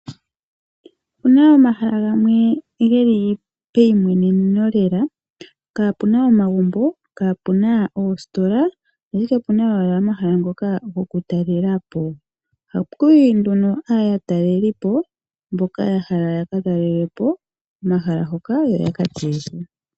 Ope na omahala gamwe ge li peyimweneneno, kapuna omagumbo, oositola ashike ope na owala omahala ngoka goku talela po. Ohaku yi nduno aatelelipo mboka ya hala okutalela po omahala ngoka, yo ye ga tseye nawa.